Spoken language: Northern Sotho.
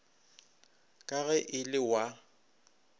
ka ge e le wa